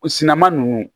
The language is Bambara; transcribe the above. O sinnama ninnu